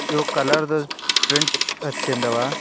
ಇವು ಕಲರ್ ದ ಪ್ರಿಂಟ್ ಹಚ್ಚಿಂದವ